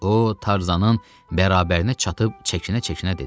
O Tarzanın bərabərinə çatıb çəkinə-çəkinə dedi: